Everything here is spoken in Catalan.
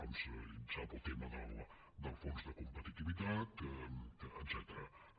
com sap el tema del fons de competitivitat etcètera